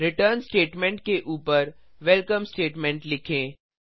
return statement के ऊपर welcome statement लिखें